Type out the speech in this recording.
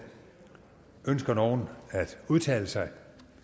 ønsker nogen at udtale sig